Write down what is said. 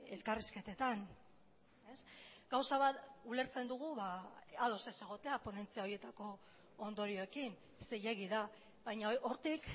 elkarrizketetan gauza bat ulertzen dugu ados ez egotea ponentzia horietako ondorioekin zilegi da baina hortik